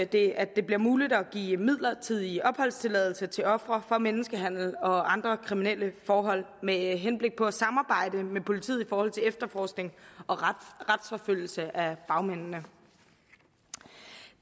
det at det bliver muligt at give midlertidig opholdstilladelse til ofre for menneskehandel og andre kriminelle forhold med henblik på at de samarbejder med politiet i forhold til efterforskning og retsforfølgelse af bagmændene